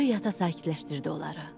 Böyük ata sakitləşdirdi onları.